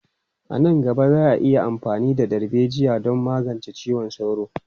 A nan gaba, za a yi amfani da darbejiya don magance ciwon sauro.